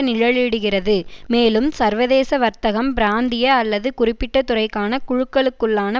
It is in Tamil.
நிழலிடுகிறது மேலும் சர்வதேச வர்த்தகம் பிராந்திய அல்லது குறிப்பிட்டதுறைக்கான குழுக்களுக்குள்ளான